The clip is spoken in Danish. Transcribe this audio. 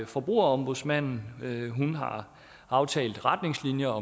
forbrugerombudsmanden aftalt retningslinjer